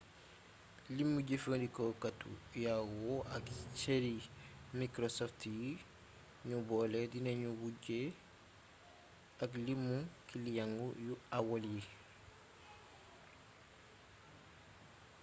limu jëfandikookatu yahoo ak cëri microsfot yi nu boole dinanu wujje ak limu kiliyeng yu aol yi